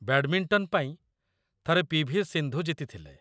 Badminton ପାଇଁ, ଥରେ ପି.ଭି.ସିନ୍ଧୁ ଜିତିଥିଲେ।